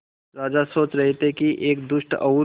राजा सोच रहे थे कि एक दुष्ट और